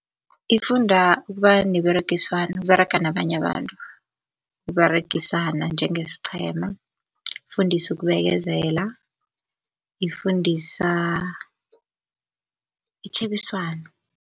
Ifunda ukuba neberegiswano, ukUberega nabanye abantu, ukUberegisana njengesiqhema, ifundisa ukubekezela, ifundisa itjhebiswano.